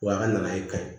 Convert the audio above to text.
Wa a kana kayi